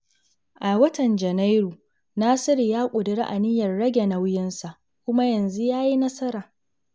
A watan Janairu, Nasiru ya ƙuduri aniyar rage nauyinsa, kuma yanzu ya yi nasara.